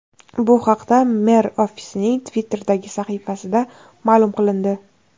Bu haqda mer ofisining Twitter’dagi sahifasida ma’lum qilindi .